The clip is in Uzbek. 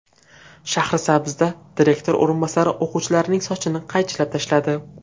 Shahrisabzda direktor o‘rinbosari o‘quvchilarning sochini qaychilab tashladi .